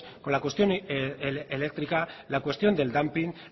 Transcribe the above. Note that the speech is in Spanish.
con la cuestión eléctrica con la cuestión del dumping